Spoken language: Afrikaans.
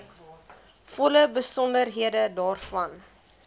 volle besonderhede daarvan